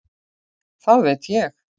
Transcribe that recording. Það veit ég